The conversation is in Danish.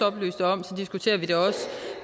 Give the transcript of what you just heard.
oplyste om diskuterer vi det også